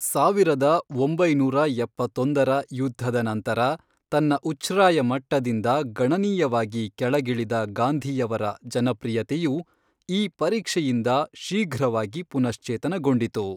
ಸಾವಿರದ ಒಂಬೈನೂರ ಎಪ್ಪತ್ತೊಂದರ ಯುದ್ಧದ ನಂತರ ತನ್ನ ಉಚ್ಛ್ರಾಯ ಮಟ್ಟದಿಂದ ಗಣನೀಯವಾಗಿ ಕೆಳಗಿಳಿದ ಗಾಂಧಿಯವರ ಜನಪ್ರಿಯತೆಯು ಈ ಪರೀಕ್ಷೆಯಿಂದ ಶೀಘ್ರವಾಗಿ ಪುನಶ್ಚೇತನಗೊಂಡಿತು.